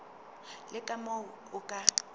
le ka moo o ka